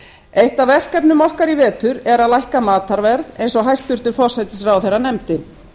eitt af verkefnum okkar í vetur er að lækka matarverð eins og hæstvirtur forsætisráðherra nefndi